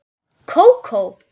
Kókó?